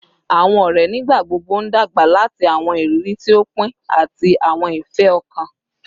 Awọn ọrẹ nigbagbogbo n dagba lati awọn iriri ti o pin ati awọn ifẹ-ọkan